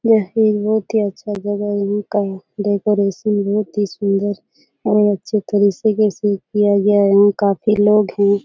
यह एक बहुत ही अच्छा जगह है डेकोरेट बहुत ही सुन्दर और अच्छे तरीके से किया गया है यहाँ काफी लोग है --